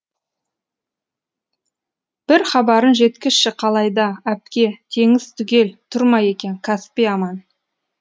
бір хабарын жеткізші қалай да әпке теңіз түгел тұр ма екен каспий аман